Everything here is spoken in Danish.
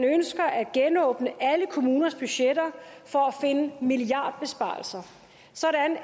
genåbner alle kommuners budgetter for at finde milliardbesparelser sådan